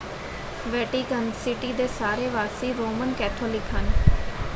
Vatican city ਦੇ ਸਾਰੇ ਵਾਸੀ ਰੋਮਨ ਕੈਥੋਲਿਕ ਹਨ।